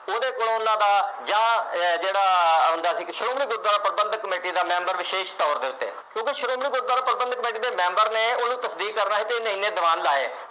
ਉਹਦੇ ਕੋਲ ਉਨ੍ਹਾਂ ਦਾ ਜਾ ਜਿਹੜਾ ਆਉਦਾ ਸੀ ਸ਼੍ਰੋਮਣੀ ਗੁਰਦੁਆਰਾ ਪ੍ਰਬੰਧਕ ਕਮੇਟੀ ਦਾ ਕੋਈ ਮੈਂਬਰ ਵਿਸ਼ੇਸ਼ ਤੌਰ ਤੇ ਕਿਉਕਿ ਸ਼੍ਰੋਮਣੀ ਗੁਰਦੁਆਰਾ ਪ੍ਰਬੰਧਕ ਕਮੇਟੀ ਦੇ ਮੈਂਬਰ ਨੇ ਉਹਦੂ ਤਫਤੀਸ਼ ਕਰ ਰਹੇ ਉਹਨੇ ਇੰਨੇ ਦੀਵਾਨ ਲਾਏ